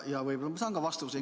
Ja võib-olla ma saan vastuse.